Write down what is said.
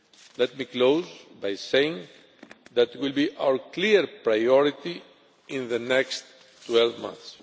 Let me close by saying that it will be our clear priority in the next 12 months.